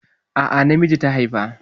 A'a, namiji ta haifa.